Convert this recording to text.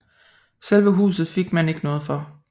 Selve huset fik man ikke noget for